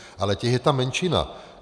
Ale těch je tam menšina.